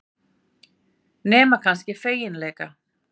Nema kannski feginleika.